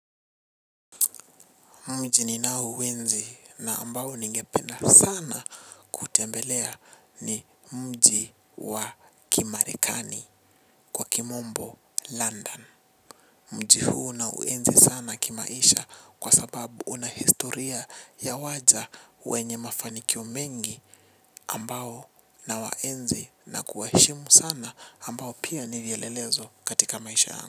Mji ninao uenzi na ambao ningepena sana kutembelea ni mji wa kimarekani wa kimombo London. Mji huu na uenzi sana kimaisha kwa sababu una historia ya waja wenye mafanikio mengi. Ambao na waenzi na kuwashimu sana ambao pia nivyelelezo katika maisha yangu.